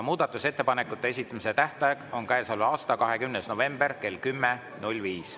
Muudatusettepanekute esitamise tähtaeg on käesoleva aasta 20. november kell 10.05.